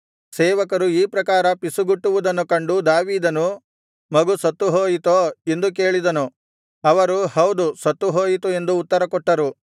ಸೇವಕರು ಈ ಪ್ರಕಾರ ಪಿಸುಗುಟ್ಟುವುದನ್ನು ಕಂಡು ದಾವೀದನು ಮಗು ಸತ್ತು ಹೋಯಿತೆಂದು ತಿಳಿದು ಸೇವಕರನ್ನು ಮಗು ಸತ್ತುಹೋಯಿತೋ ಎಂದು ಕೇಳಿದನು ಅವರು ಹೌದು ಸತ್ತುಹೋಯಿತು ಎಂದು ಉತ್ತರ ಕೊಟ್ಟರು